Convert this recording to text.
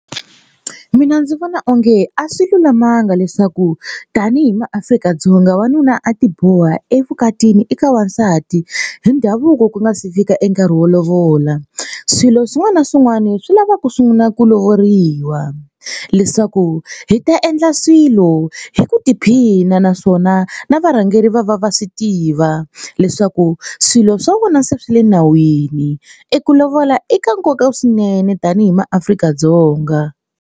Mina ndzi vona onge a swi lulamanga leswaku tanihi maAfrika-Dzonga wanuna a tiboha evukatini eka wansati hi ndhavuko ku nga si fika e nkarhi wo lovola. Swilo swin'wana na swin'wani swi lava ku sungula ku lovoriwa leswaku hi ta endla swilo hi ku tiphina naswona na varhangeri va va va swi tiva leswaku swilo swa vona se swi le nawini eku lovola eka nkoka swinene tanihi maAfrika-Dzonga.